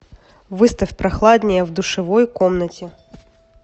выставь прохладнее в душевой комнате